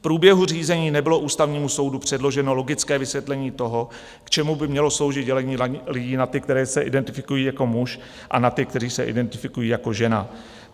V průběhu řízení nebylo Ústavnímu soudu předloženo logické vysvětlení toho, k čemu by mělo sloužit dělení lidí na ty, kteří se identifikují jako muž, a na ty, kteří se identifikují jako žena.